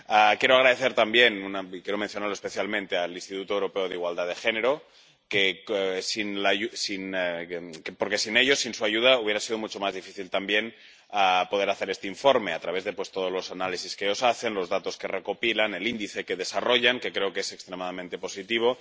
Quiero dar las gracias también —y quiero mencionarlo especialmente—, al Instituto Europeo de la Igualdad de Género, porque sin ellos, sin su ayuda, hubiera sido mucho más difícil también poder hacer este informe —a través de todos los análisis que ellos hacen, los datos que recopilan, el índice que desarrollan, que creo que es extremadamente positivo—